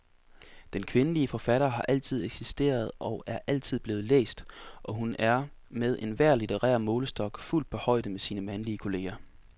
Den kvindelige forfatter har altid eksisteret og er altid blevet læst, og hun er med enhver litterær målestok fuldt på højde med sine mandlige kolleger.